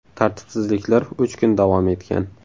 Tartibsizliklar uch kun davom etgan.